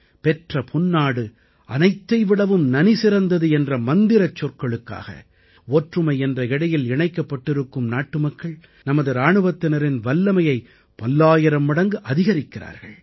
பெற்ற பொன்னாடு அனைத்தை விடவும் நனிசிறந்தது என்ற மந்திரச் சொற்களுக்காக ஒற்றுமை என்ற இழையில் இணைக்கப்பட்டிருக்கும் நாட்டுமக்கள் நமது இராணுவத்தினரின் வல்லமையை பல்லாயிரம் மடங்கு அதிகரிக்கிறார்கள்